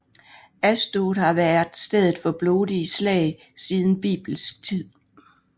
Ashdod har været stedet for blodige slag siden bibelsk tid